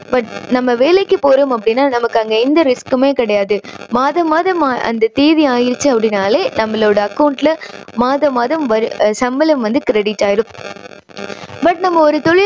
but நம்ம வேலைக்கு போறோம் அப்படின்னா நமக்கு அங்க எந்த risk குமே கிடையாது. மாதா மாதம் அந்த தேதி ஆயிருச்சு அப்படின்னாலே நம்மளோட account ல மாதா மாதம் வரு~சம்பளம் வந்து credit ஆயிடும். but நம்ப ஒரு தொழில்